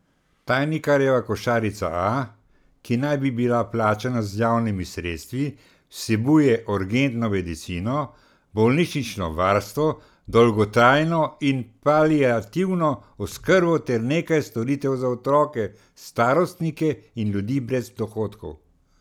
Tajnikarjeva košarica A, ki naj bi bila plačana z javnimi sredstvi, vsebuje urgentno medicino, bolnišnično varstvo, dolgotrajno in paliativno oskrbo ter nekaj storitev za otroke, starostnike in ljudi brez dohodkov.